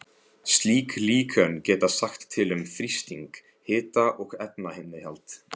Slík líkön geta sagt til um þrýsting, hita og efnainnihald.